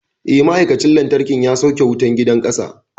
Eh, ma'aikacin lantarkin ya sauke wutar gidan ƙasa.